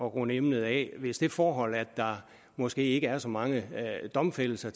runde emnet af hvis det forhold at der måske ikke har så mange domfældelser